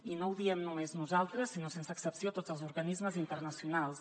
i no ho diem només nosaltres sinó sense excepció tots els organismes internacionals